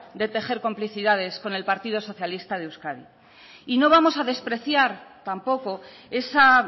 de tejer complicidades con el partido socialista de euskadi y no vamos a despreciar tampoco esa